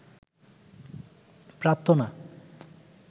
প্রার্থনা